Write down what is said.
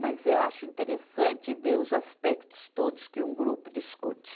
Mas eu acho interessante ver os aspectos todos que um grupo discute.